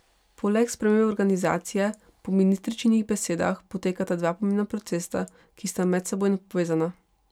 Poleg spremembe organizacije po ministričinih besedah potekata dva pomembna procesa, ki sta medsebojno povezana.